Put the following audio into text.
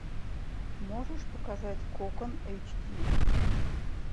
можешь показать кокон эйч ди